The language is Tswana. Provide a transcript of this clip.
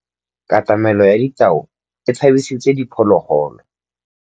Katamêlô ya tau e tshabisitse diphôlôgôlô.